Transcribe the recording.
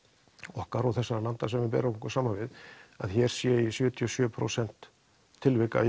okkar og þessara landa sem við berum okkur saman við að hér sé sjötíu og sjö prósent tilvika